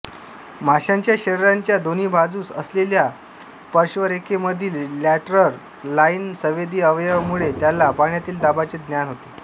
माशाच्या शरीराच्या दोन्ही बाजूस असलेल्या पार्श्वरेखेमधील लॅटरल लाइन संवेदी अवयवामुळे त्याला पाण्यातील दाबाचे ज्ञान होते